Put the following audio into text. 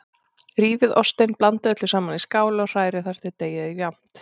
Rífið ostinn, blandið öllu saman í skál og hrærið þar til deigið er jafnt.